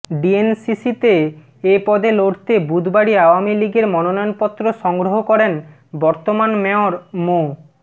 ডিএনসিসিতে এ পদে লড়তে বুধবারই আওয়ামী লীগের মনোনয়নপত্র সংগ্রহ করেন বর্তমান মেয়র মো